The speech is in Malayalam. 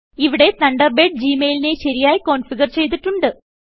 ഇവിടെ തണ്ടർബേഡ് ജി മെയിലിനെ ശരിയായി കോന്ഫിഗർ ചെയ്തിട്ടുണ്ട്